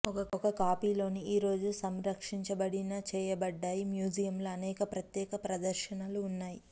ఒక కాపీని లో ఈ రోజు సంరక్షించబడిన చేయబడ్డాయి మ్యూజియం లో అనేక ప్రత్యేక ప్రదర్శనలు ఉన్నాయి